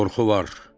Qorxu var.